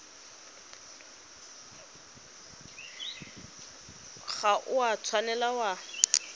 ga o a tshwanela wa